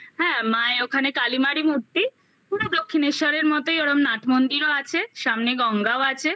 হ্যাঁ মায়ে ওখানে কালিমারী মূর্তি পুরো দক্ষিণেশ্বরের মতোই ওরম নাট মন্দিরও আছে সামনে গঙ্গাও আছে